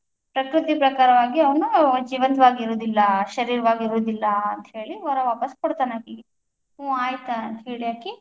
ಪ್ರಕೃತಿ ಪ್ರಕಾರವಾಗಿ ಅವನು ಜೀವಂತವಾಗಿ ಇರೋದಿಲ್ಲ, ಶರೀರವಾಗಿ ಇರೋದಿಲ್ಲ, ಅಂತ ಹೇಳಿ ವರ ವಾಪಸ್ ಕೊಡ್ತಾನ ಅಕಿಗ ಹ್ಮ್ ಆಯ್ತ್ ಅಂತ ಹೇಳಿ ಅಕಿ.